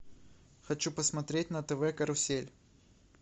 хочу посмотреть на тв карусель